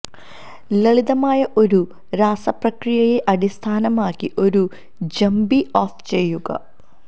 ലളിതമായ ഒരു രാസപ്രക്രിയയെ അടിസ്ഥാനമാക്കി ഒരു ജമ്പി ഓഫ് ചെയ്യുക